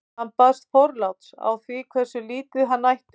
hann baðst forláts á því hversu lítið hann ætti